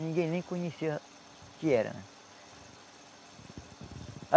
Ninguém nem conhecia o que era né.